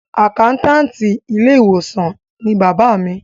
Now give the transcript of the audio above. Àkáńtáàtì ilé ìwòsàn ni bàbá mi.